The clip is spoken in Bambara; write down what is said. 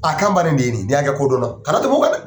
A kan de ye nin ye n y'a ka ko dɔnna kana tɛmɛ kan dɛ.